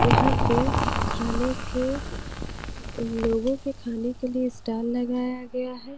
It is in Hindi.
यहां पे खाने के लोगों के खाने के लिए स्टॉल लगाया गया है।